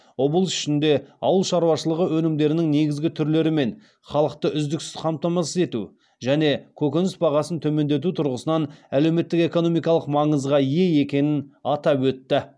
облыс үшін де ауыл шаруашылығы өнімдерінің негізгі түрлерімен халықты үздіксіз қамтамасыз ету және көкөніс бағасын төмендету тұрғысынан әлеуметтік экономикалық маңызға ие екенін атап өтті